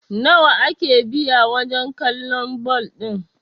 nawa ake biya wajen kallon bal ɗin!?